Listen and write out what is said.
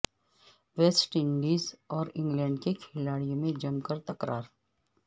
waste Indies اور England کے کھلاڑیوں میں جم کر تکرار